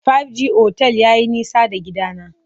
Five G otel yayi nisa da gidana.